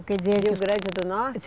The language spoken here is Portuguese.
Rio Grande do Norte?